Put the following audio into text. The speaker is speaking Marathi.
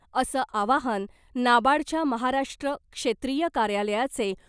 असं आवाहन नाबार्डच्या महाराष्ट्र क्षेत्रिय कार्यालयाचे